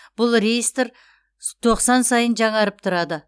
бұл реестр тоқсан сайын жаңарып тұрады